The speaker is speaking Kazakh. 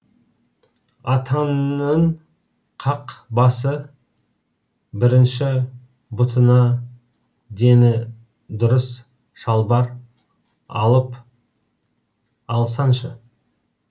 атаңның қақ басы бірінші бұтыңа дені дұрыс шалбар алып алсаңшы